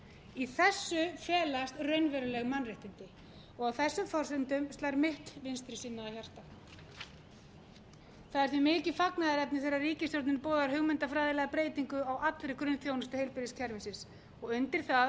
í þessu felast raunveruleg mannréttindi og á þessum forsendum slær mitt vinstrisinnaða hjarta það er því mikið fagnaðarefni þegar ríkisstjórnin boðar hugmyndafræðilega breytingu á allri grunnþjónustu heilbrigðiskerfisins og undir það